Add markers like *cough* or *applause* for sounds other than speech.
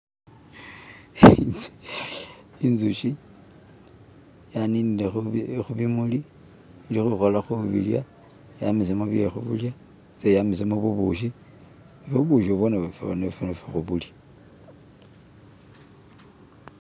*skip* inzushi yaninile hubimuli ilihuhola hubilya yamisemu byehulya itse yamisemu bubushi ne ubushi bwo nafe hubulya *skip*